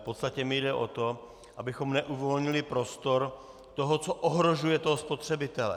V podstatě mi jde o to, abychom neuvolnili prostor toho, co ohrožuje toho spotřebitele.